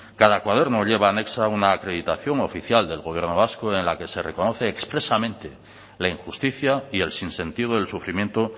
cada cuaderno lleva anexa una acreditación oficial del gobierno vasco en la que se recoge expresamente la injusticia y el sinsentido del sufrimiento